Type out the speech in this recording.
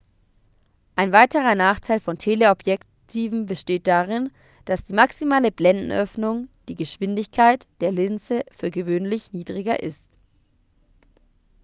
ein weiterer nachteil von teleobjektiven besteht darin dass die maximale blendenöffnung die geschwindigkeit der linse für gewöhnlich niedriger ist